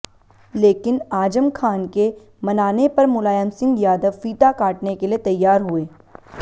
लेकिन आजम खान के मनाने पर मुलायम सिंह यादव फीता काटने के लिए तैयार हुए